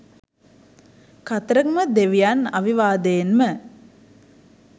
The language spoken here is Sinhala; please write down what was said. කතරගම දෙවියන් අවිවාදයෙන්ම